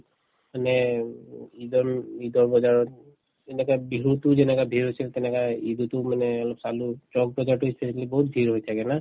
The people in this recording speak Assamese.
মানে উম ঈদন ঈদৰ বজাৰত বিহুতোও যেনেকা বিহু চিহু তেনেকা ঈদতো মানে অলপ চালো চক বজাৰতো বহুত ভিৰ হৈ থাকে না ?